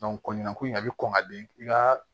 ko in a bɛ kɔn ka bin i ka